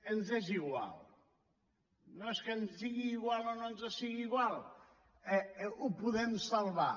ens és igual no és que ens sigui igual o no ens sigui igual ho podem salvar